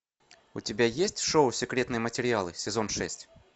у тебя есть шоу секретные материалы сезон шесть